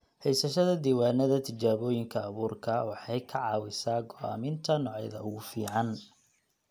Haysashada diiwaannada tijaabooyinka abuurka waxay ka caawisaa go'aaminta noocyada ugu fiican.